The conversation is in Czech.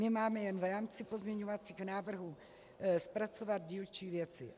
My máme jen v rámci pozměňovacích návrhů zpracovat dílčí věci.